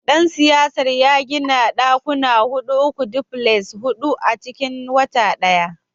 dan siyasar ya gina dakuna hudu uku, duplexes hudu a cikin wata daya.